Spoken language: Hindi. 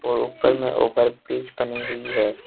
और ऊपर ओभर ब्रिज बनी हुई है।